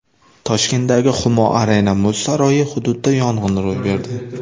Toshkentdagi Humo Arena muz saroyi hududida yong‘in ro‘y berdi.